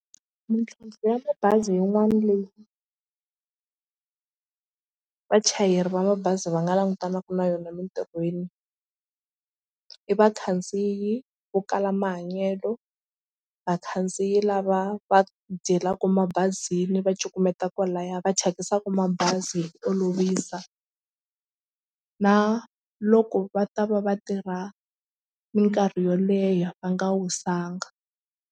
Mintlhontlho ya mabazi yin'wana leyi vachayeri va mabazi va nga langutanaka na yona emitirhweni i vakhandziyi vo kala mahanyelo vakhandziyi lava va dyelaka mabazini va cukumeta kwalaya va thyakisaka mabazi hi ku olovisa na loko va ta va va tirha mikarhi yo leha va nga wisanga.